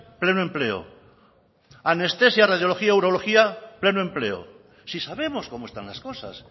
pleno empleo anestesia radiología y urología pleno empleo si sabemos cómo están las cosas